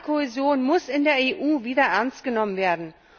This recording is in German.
Soziale Kohäsion muss in der EU wieder ernst genommen werden.